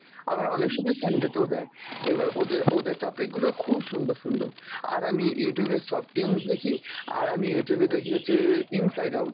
আবার অনেক সময় Sunday তেও দেয়, এবার ওদে~ ওদের topic গুলো খুব সুন্দর সুন্দর, আর আমি Youtube এ softoons দেখি, আর আমি Youtube এ দেখি হচ্ছে inside out